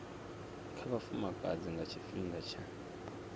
kha vhafumakadzi nga tshifhinga tsha